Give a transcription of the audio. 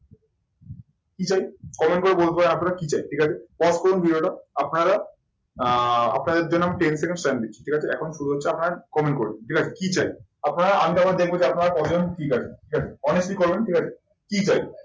কি চাই? comment করে বলতে হবে আপনারা কি চাই? ঠিক আছে। pause করুন ভিডিওটা, আপনারা আহ আপনাদের জন্য ten second time দিচ্ছি। ঠিক আছে? এখন শুরু হচ্ছে আপনার comment করুন। কি চাই? আপনার দেখবেন যে আপনারা কজন ঠিক আছেন। ঠিক আছে? অনেকেই করবেন ঠিক আছে? কি চাই?